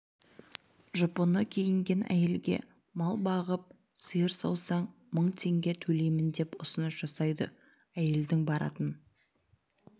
жұпыны киінген әйелге мал бағып сиыр саусаң мың теңге төлеймін деп ұсыныс жасайды әйелдің баратын